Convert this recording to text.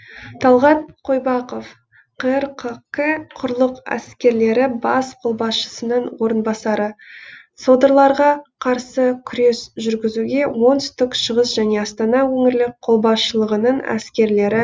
талғат қойбақов қр қк құрлық әскерлері бас қолбасшысының орынбасары содырларға қарсы күрес жүргізуге оңтүстік шығыс және астана өңірлік қолбасшылығының әскерлері